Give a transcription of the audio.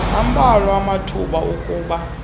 ambalwa amathuba okuba